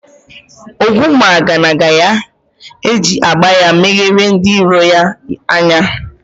Ogwumagana ga-eji agba ya megharịa ndị iro ya anya